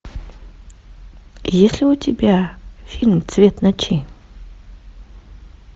есть ли у тебя фильм цвет ночи